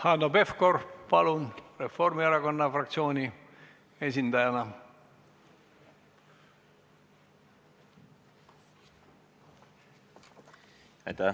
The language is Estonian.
Hanno Pevkur, palun, Reformierakonna fraktsiooni esindajana!